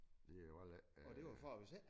Det jo heller ikke øh